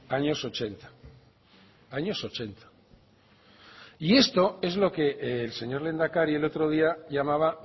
años ochenta años ochenta y esto es lo que el señor lehendakari el otro día llamaba